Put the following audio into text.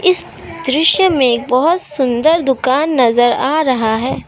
इस दृश्य में एक बहुत सुंदर दुकान नजर आ रहा है।